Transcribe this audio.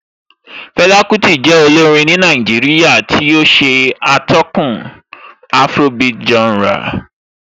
Fela Kuti jẹ́ olórin ní Nàìjíríà tí ó ṣatọ́kùn afrobeat genre